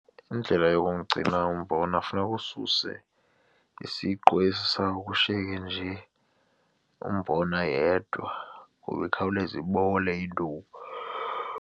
Indlela yokumgcina umbona funeka ususe isiqu esi sayo kushiyeke nje umbona yedwa kuba ikhawuleze ibole .